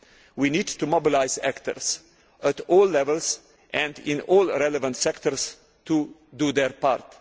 We need to mobilise actors at all levels and in all relevant sectors to do their